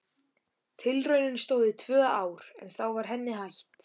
Tilraunin stóð í tvö ár en þá var henni hætt.